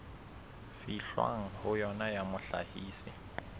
fihlwang ho yona ya mohlahisi